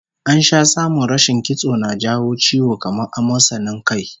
An sha samun rashin kitso na jawo ciwo kamar amosanin kai